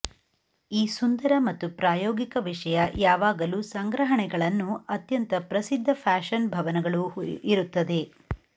ಈ ಸುಂದರ ಮತ್ತು ಪ್ರಾಯೋಗಿಕ ವಿಷಯ ಯಾವಾಗಲೂ ಸಂಗ್ರಹಣೆಗಳನ್ನು ಅತ್ಯಂತ ಪ್ರಸಿದ್ಧ ಫ್ಯಾಷನ್ ಭವನಗಳು ಇರುತ್ತದೆ